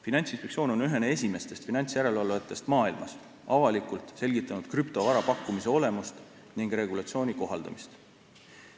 Finantsinspektsioon on ühena esimestest finantsjärelevalvajatest maailmas avalikult selgitanud krüptovara pakkumise olemust ja regulatsiooni kohaldamist.